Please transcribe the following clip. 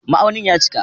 Ma'aunin ya cika